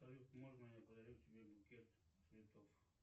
салют можно я подарю тебе букет цветов